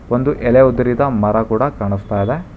ಒಂದು ಎಲೆ ಉದುರಿದ ಮರ ಕೂಡ ಕಾಣುಸ್ತಾ ಇದೆ.